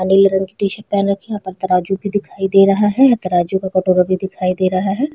नीले रंग की टी शर्ट पहन रखी है और ऊपर तराजु भी दिखाई दे रहा है और तराजु का कटोरा भी दिखाई दे रहा है।